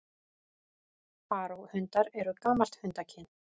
Faraó-hundar eru gamalt hundakyn.